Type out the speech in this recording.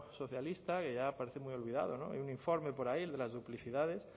socialista que ya parece muy olvidado en un informe por ahí el de las duplicidades